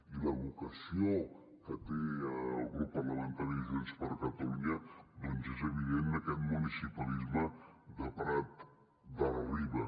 i la vocació que té el grup parlamentari de junts per catalunya doncs és evident en aquest municipalisme de prat de la riba